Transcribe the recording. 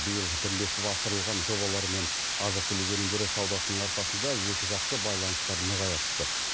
биыл бірлесіп асырылған жобалар мен азық түлік өнімдері саудасының арқасында екіжақты байланыстар нығая түсті